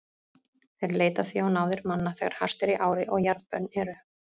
Þeir leita því á náðir manna þegar hart er í ári og jarðbönn eru.